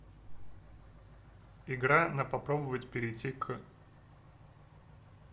игра на попробовать перейти к